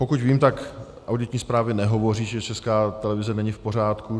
Pokud vím, tak auditní zprávy nehovoří, že Česká televize není v pořádku.